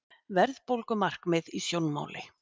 Verðbólgumarkmið í sjónmáli